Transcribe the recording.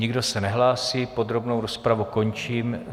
Nikdo se nehlásí, podrobnou rozpravu končím.